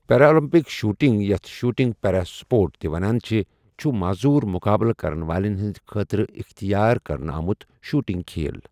Paralympic shooting, یَتھ 'shooting para sport' تہٕ چُھ ونٛنہٕ یِوان، چُھ معزوٗر مُقابلہٕ کَرن والٮ۪ن ہِنٛدِ خٲطرٕ اختِیار کرنہٕ آمُت شوُٹنگ کھیل ۔